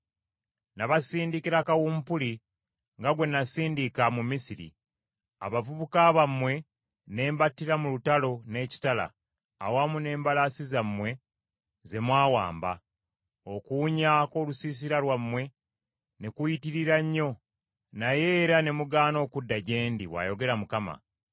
“Nabasindikira kawumpuli nga gwe nasindika mu Misiri. Abavubuka bammwe ne mbattira mu lutalo n’ekitala awamu n’embalaasi zammwe ze mwawamba. Okuwunya kw’olusisira lwammwe ne kuyitirira nnyo naye era ne mugaana okudda gye ndi,” bw’ayogera Mukama .